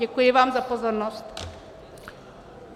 Děkuji vám za pozornost.